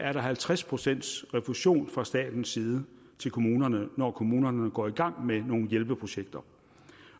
er der halvtreds procent refusion fra statens side til kommunerne når kommunerne går i gang med nogle hjælpeprojekter